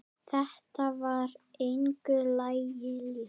Þetta var engu lagi líkt.